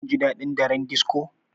Shin kun ji daɗin daren disco?